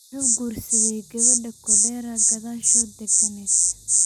Muxuu kursadhey gawadha Kodera kadhashod daganet.